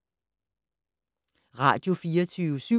Radio24syv